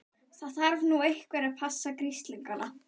Það þarf nú einhver að passa grislingana.